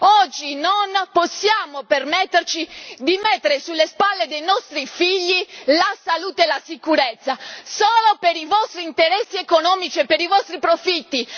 Oggi non possiamo permetterci di mettere sulle spalle dei nostri figli la salute e la sicurezza, solo per i vostri interessi economici e per i vostri profitti!